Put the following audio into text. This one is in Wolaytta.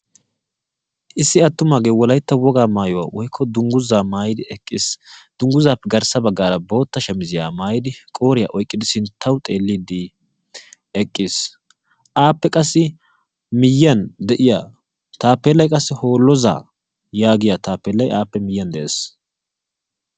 Issi attumagee wolaytta wogaa maayyuwa woykko dungguzaa maayyidi eqqiis. Dungguzappe garssa baggaara bootta shamizziya maayidi qooriya oyqqidi sinttaw xeelidi eqqiis. Appe qassi miyyiyaan de'iya taapelay qassi Hooloza yaagiya taapelay appe miyyiyaan de'ees.